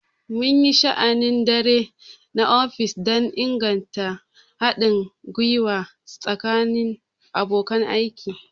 Mun yi sha'anin dare na ofis don inganta haɗin gwiwa tsakanin abokan aiki.